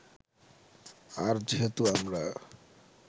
আর যেহেতু আমরা